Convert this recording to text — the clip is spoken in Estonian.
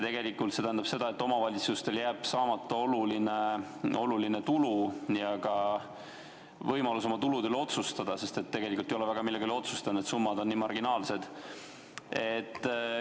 Tegelikult tähendab see seda, et omavalitsustel jääb saamata oluline tulu ja ühtlasi puudub neil võimalus oma tulude üle otsustada, sest ei olegi väga millegi üle otsustada, need summad on nii marginaalsed.